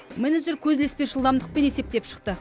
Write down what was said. менеджер көз ілеспес жылдамдықпен есептеп шықты